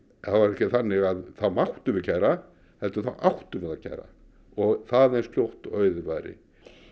þannig að þá máttum við kæra heldur þá áttum við að kæra og það eins fljótt og auðið væri